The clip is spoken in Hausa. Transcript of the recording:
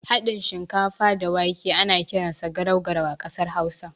Haɗin shinkafa da wake ana kiransa garau garau a ƙasar hausa.